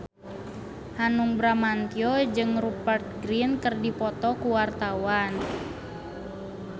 Hanung Bramantyo jeung Rupert Grin keur dipoto ku wartawan